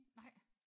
Nej!